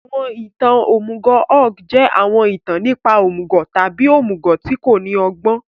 Àwọn ìtàn òmùgọ̀ ogre jẹ́ àwọn ìtàn nípa òmùgọ̀ tàbí òmùgọ̀ tí kò ní ọgbọ́n.